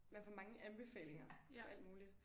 Man får mange anbefalinger for alt muligt